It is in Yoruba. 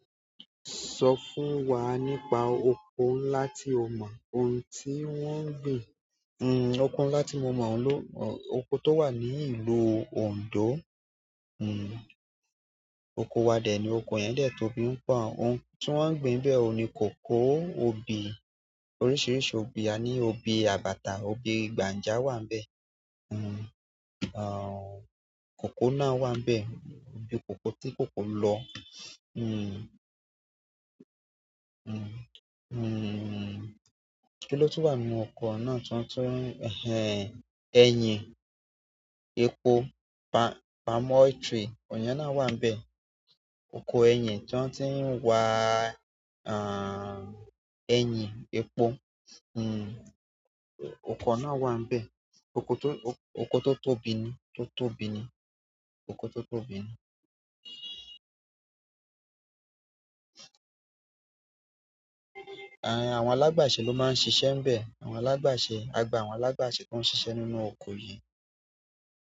Sọ fún wa nípa oko ńlá tí o mọ, ohun tí wọ́n ń gbin. Hmm oko ńlá tí mo mọ̀, oko tó wà ní ìlú Ondo, hmm oko wa dè ni, oko yẹn dẹ̀ tóbi ń pọ́n, ohun tí wọ́n ń gbin bẹ́ẹ̀ ni kòkó, obì, oríṣiríṣi obì, a ní obì àbàtà, obì gbàǹja wà níbẹ̀. Hmm àń, kòkó náà wà níbẹ̀, obì kòkó tí kòkó lọ. Hmm hmm hmm kilo tun wa nínú oko náà tiwan tun, eyin, epo palm oil trail iyen náà wa n be. Ọkọ ẹyin ti wan ti wa eyin epo hun okuro náà wa n be okuro ti oko tó tóbi ni, tó tóbi ni, oko tó tóbi ni. Àń àwọn alágbàṣe ló máa ń ṣiṣẹ́ níbẹ̀, àwọn alágbàṣe, a gba àwọn alágbàṣe kó ń ṣiṣẹ́ nínú oko yìí.